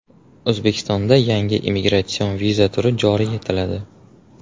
O‘zbekistonda yangi imigratsion viza turi joriy etiladi.